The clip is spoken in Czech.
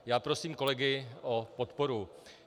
Já prosím kolegy o podporu.